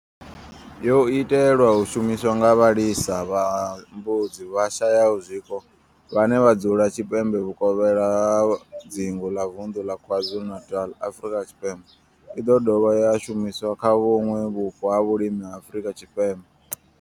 Yo itelwa u shumiswa nga vhalisa vha mbudzi vhashayaho zwiko vhane vha dzula tshipembe vhuvokhela ha dzingu ḽa vunḓu ḽa KwaZulu-Natal, Afrika Tshipembe i ḓo dovha ya shumiswa kha vhuṋwe vhupo ha vhulimi ha Afrika Tshipembe.